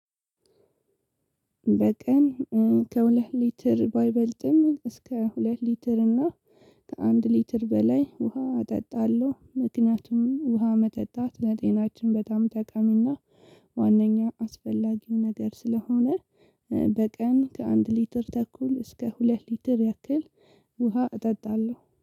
በቀን ከሁለት ሊትር ባይበልጥም እስከ ሁለት ሊትር እና ከአንድ ሊትር በላይ ውሃ እጠጣለሁ። ምክንያቱም ውሃ መጠጣት ለጤናችን በጣም ጠቃሚና ዋናኛ አስፈላጊ ነገር ስለሆነ በቀን ከአንድ ሊትር ተኩል እስከ ሁለት ሊትር ያክል ውሃ እጠጣለሁ።